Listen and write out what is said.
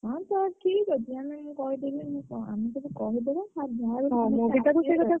ମୁଁ କହିଲି ଠିକ୍ ଅଛି। ଆମେ ମାନେ କହିଦବୁ କହିଦବୁ ।